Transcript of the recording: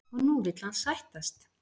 Og nú vill hann sættast?